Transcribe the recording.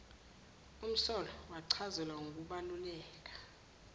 umsolwa wachazelwa ngokubaluleka